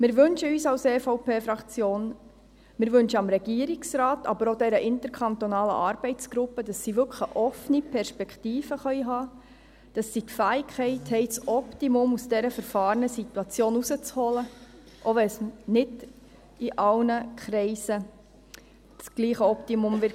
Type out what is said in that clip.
Wir wünschen uns als EVP-Fraktion, wir wünschen dem Regierungsrat, aber auch dieser interkantonalen Arbeitsgruppe, dass sie wirklich eine offene Perspektive haben können, dass sie die Fähigkeit haben, das Optimum aus dieser verfahrenen Situation herauszuholen, auch wenn es nicht in allen Kreisen dasselbe Optimum geben wird.